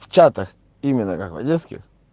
в чатах именно как в одесских